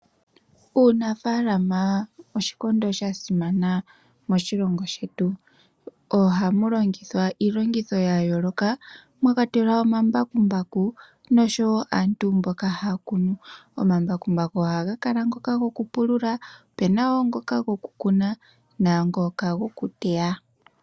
Uunafalama oshikondo sha simana moshilongo shetu. Ohamu longithwa iilongitho ya yooloka mwa kwatelwa omambakumbaku noshowo aantu mboka haya kunu. Omambakumbaku ohaga kala ngoka goku pulula opena wo ngoka go ku kuna nangooka goku teya.